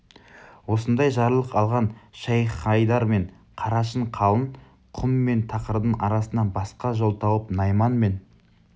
осындай жарлық алған шайх-хайдар мен қарашың қалың құм мен тақырдың арасынан басқа жол тауып найман мен